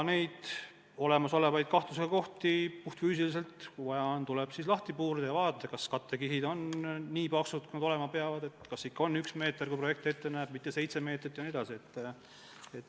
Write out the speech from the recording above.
Olemasolevaid kahtlasi kohti tuleb, kui vaja on, lahti puurida ja vaadata, kas kattekihid on nii paksud, kui nad olema peavad, kas ikka on üks meeter, kui projekt ette näeb, jne.